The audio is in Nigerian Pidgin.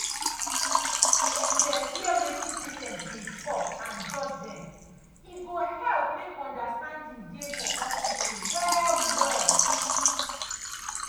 if dem hear wetin patients dey talk and judge dem e go help make understanding dey for hospital well well.